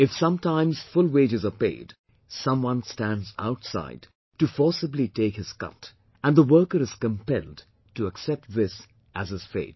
If sometimes full wages are paid, someone stands outside to forcibly take his cut and the worker is compelled to accept this as his fate